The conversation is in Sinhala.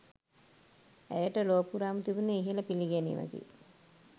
ඇයට ලොව පුරාම තිබුණේ ඉහළ පිළිගැනීමකි.